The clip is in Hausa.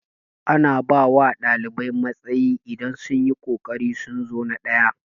Ana bawa ɗalibai matsayi idan sunyi kokarin sun zo na ɗaya